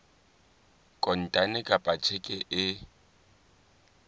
kontane kapa ka tjheke e